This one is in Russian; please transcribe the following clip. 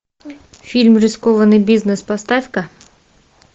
фильм рискованный бизнес поставь ка